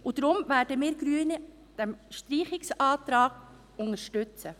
Daher werden wir Grünen diesen Streichungsantrag unterstützen.